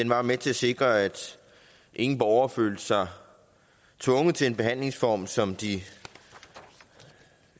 var med til at sikre at ingen borgere følte sig tvunget til en behandlingsform som de